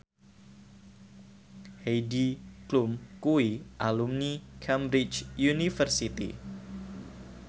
Heidi Klum kuwi alumni Cambridge University